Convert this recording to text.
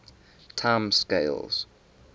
time scales